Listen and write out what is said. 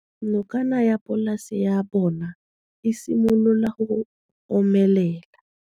Nokana ya polase ya bona, e simolola go omelela.